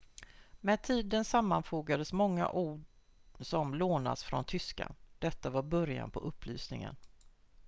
med tiden sammanfogades många ord som lånats från tyskan detta var början på upplysningen